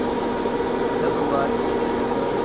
जब बारिश के समय